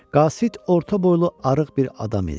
Qasid orta boylu arıq bir adam idi.